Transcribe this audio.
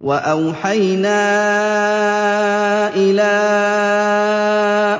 وَأَوْحَيْنَا إِلَىٰ